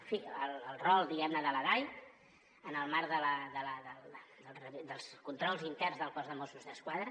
en fi el rol diguem ne de la dai en el marc dels controls interns del cos de mossos d’esquadra